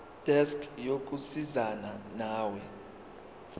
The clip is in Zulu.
desk yokusizana nawe